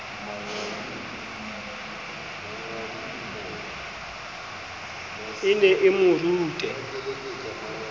e ne e mo rute